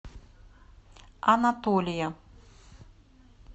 анатолия